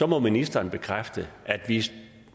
må ministeren bekræfte at hvis